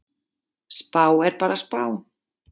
Spá er bara spá.